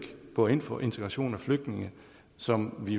går ind for integration af flygtninge som vi